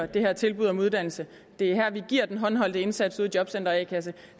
det her tilbud om uddannelse det er der vi giver den håndholdte indsats ude i jobcentre og a kasse